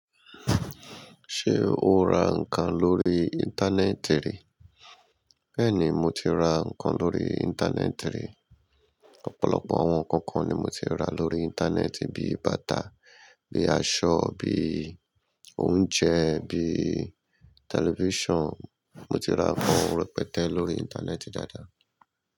Ṣé o ra nǹkan lórí Íńtánẹ́ẹ̀tì rí? Bẹ́ẹ̀ni, mo ti ra nǹkan lórí Íńtánẹ́ẹ̀tì rí. Ọ̀pọ̀lọpọ̀ àwọn ǹkan kan ni mo ti ra lórí íńtánẹ́ẹ̀tì bí i bàtà, bíi aṣọ, bí i oúnjẹ, bíi tẹlifíṣàn. Mo ti ra àwọn ǹkan rẹpẹtẹ lórí Íńtánẹ́ẹ̀tì dáadáa.